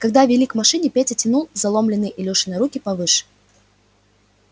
когда вели к машине петя тянул заломленные илюшины руки повыше